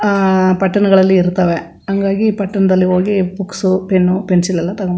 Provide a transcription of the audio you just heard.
ಅಹ್ ಪಟ್ಟಣಗಳಲ್ಲಿ ಇರ್ತ್ತವೆ ಹಂಗಾಗಿ ಪಟ್ಟಣದಲ್ಲಿ ಹೋಗಿ ಬುಕ್ಸ್ ಪೆನ್ ಪೆನ್ಸಿಲ್ ಎಲ್ಲಾ ತಕೋನ್ --